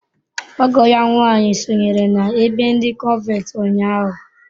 Ọgọ ya nwanyị sonyere n’ebe ndi cọnventi ụnyahụ.